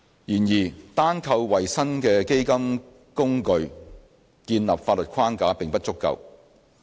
然而，單靠為新的基金工具建立法律框架並不足夠。